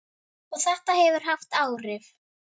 Og þetta hefur haft áhrif.